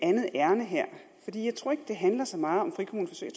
det handler så meget om frikommuneforsøg